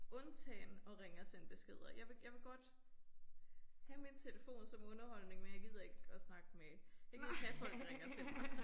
Undtagen at ringe og sende beskeder. Jeg vil jeg vil godt have min telefon som underholdning men jeg gider ikke at snakke med jeg gider ikke have folk ringer til mig